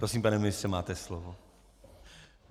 Prosím, pane ministře, máte slovo.